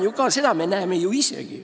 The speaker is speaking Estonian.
Seda me näeme ju isegi.